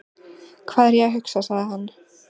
Hvað er ég að hugsa? sagði hann.